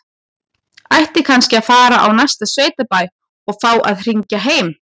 Kannski ætti hann að fara á næsta sveitabæ og fá að hringja heim?